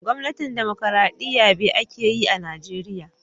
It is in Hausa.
Gwamnatin dimokuradiyya be ake yi a'Nijeriya.